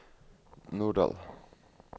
Norddal